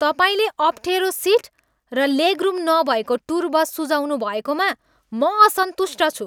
तपाईँले अप्ठेरो सिट र लेगरुम नभएको टुर बस सुझाउनुभएकोमा म असन्तुष्ट छु।